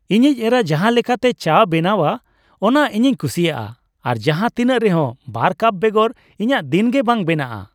ᱤᱧᱤᱡ ᱮᱨᱟ ᱡᱟᱦᱟᱸ ᱞᱮᱠᱟᱛᱮ ᱪᱟᱭ ᱵᱮᱱᱟᱣᱟ ᱚᱱᱟ ᱤᱧᱤᱧ ᱠᱩᱥᱤᱭᱟᱜᱼᱟ ᱟᱨ ᱡᱟᱦᱟᱸ ᱛᱤᱱᱟᱹᱜ ᱨᱮᱦᱚᱸ ᱒ ᱠᱟᱯ ᱵᱮᱜᱚᱨ ᱤᱧᱟᱹᱜ ᱫᱤᱱ ᱜᱮ ᱵᱟᱝ ᱵᱮᱱᱟᱜᱼᱟ ᱾